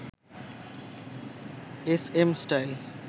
SM style